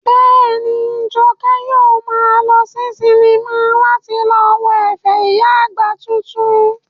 Bẹ́ẹ̀ni, Jọkẹ́ yóò maa lọ sí sinimá láti lọ wo ẹ̀fẹ̀ ìyá àgbà titun